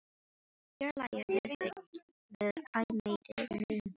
Fjarlægð við þig verður æ meiri fjarlægð.